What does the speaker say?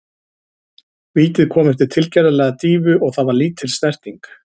Vítið kom eftir tilgerðarlega dýfu og það var lítil snerting.